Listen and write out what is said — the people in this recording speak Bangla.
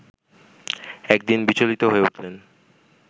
একদিন বিচলিত হয়ে উঠলেন